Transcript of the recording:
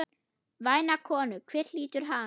Væna konu, hver hlýtur hana?